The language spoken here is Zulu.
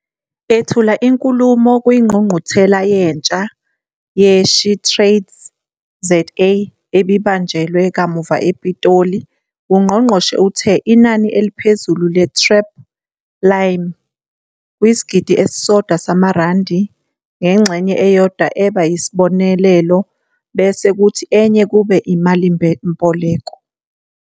Ethula inkulumo kwiNgqungquthela Yentsha ye-SheTradesZA ebibanjwe kamuva ePitoli, ungqongqoshe uthe inani eliphezulu le-TREP lime kwisigidi esisodwa samarandi, ngengxenye eyodwa eba yisibonelelo bese kuthi enye kube imalimboleko.